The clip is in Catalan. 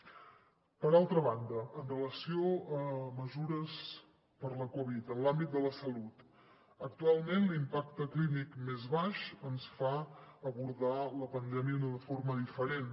per altra banda amb relació a mesures per a la covid en l’àmbit de la salut actualment l’impacte clínic més baix ens fa abordar la pandèmia d’una forma diferent